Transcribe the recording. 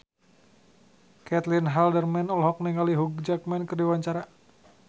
Caitlin Halderman olohok ningali Hugh Jackman keur diwawancara